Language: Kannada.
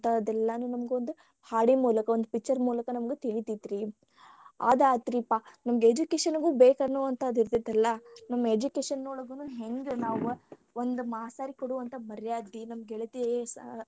ಎಲ್ಲಾ ನಮಗ ಒಂದು ಹಾಡಿನ ಮೂಲಕ ಒಂದ್ picture ಮೂಲಕ ನಮಗ ತಿಳಿತೇತ್ರಿ ಅದಾತ್ರಿಪಾ ನಮಗ education ಗು ಬೇಕನ್ನುವಂತಾದ ಇರ್ತೇತಲ್ಲಾ ನಮ್ಮ education ಒಳಗಾನು ಹೆಂಗ ನಾವ ಒಂದ ಮಾಸ್ತೆರಗ ಕೊಡುವಂತ ಮರ್ಯಾದಿ ನಮ್ಮ ಗೆಳತಿಯರ್ ಸಾ.